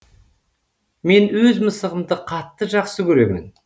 мен өз мысығымды қатты жақсы көремін